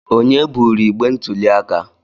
Onye buru igbe ntuli aka?